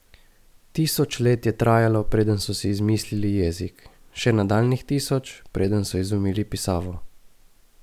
Tisoč let je trajalo, preden so si izmislili jezik, še nadaljnjih tisoč, preden so izumili pisavo!